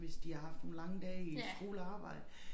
Hvis de har haft nogle lange dage i skole og arbejde